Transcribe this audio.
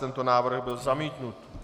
Tento návrh byl zamítnut.